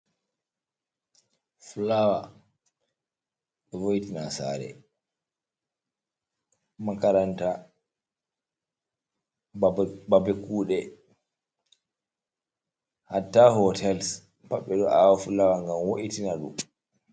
Fulawa ɗo voiti na sare, makaranta, babe kuɗe, hattah hotels pat ɓeɗo awa fulawa ngan wo’itina ɗum.